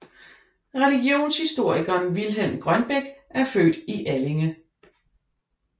Religionshistorikeren Vilhelm Grønbech er født i Allinge